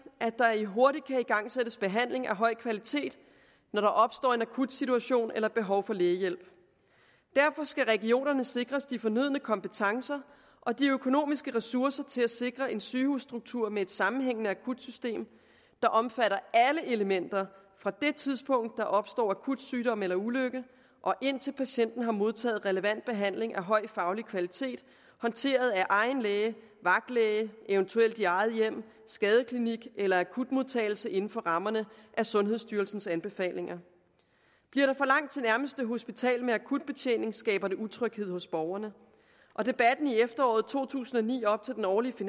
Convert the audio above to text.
at der hurtigt kan igangsættes behandling af høj kvalitet når der opstår en akut situation eller behov for lægehjælp derfor skal regionerne sikres de fornødne kompetencer og de økonomiske ressourcer til at sikre en sygehusstruktur med et sammenhængende akutsystem der omfatter alle elementer fra det tidspunkt hvor der opstår akut sygdom eller ulykke og indtil patienten har modtaget relevant behandling af høj faglig kvalitet håndteret af egen læge vagtlæge eventuelt i eget hjem skadeklinik eller akutmodtagelse inden for rammerne af sundhedsstyrelsens anbefalinger bliver der for langt til nærmeste hospital med akutbetjening skaber det utryghed hos borgerne og debatten i efteråret to tusind og ni op til den årlige